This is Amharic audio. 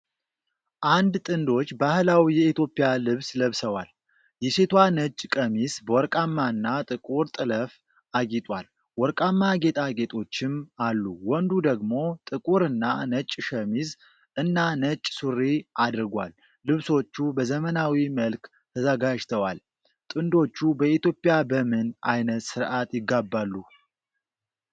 አንድ ጥንዶች ባህላዊ የኢትዮጵያ ልብስ ለብሰዋል። የሴቷ ነጭ ቀሚስ በወርቃማና ጥቁር ጥልፍ አጊጧል፤ ወርቃማ ጌጣጌጦችም አሉ። ወንዱ ደግሞ ጥቁርና ነጭ ሸሚዝ እና ነጭ ሱሪ አድርጓል። ልብሶቹ በዘመናዊ መልክ ተዘጋጅተዋል። ጥንዶቹ በኢትዮጵያ በምን ዓይነት ሥርዓት ይጋባሉ?